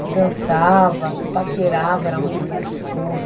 Se dançava, se paquerava, era muito gostoso.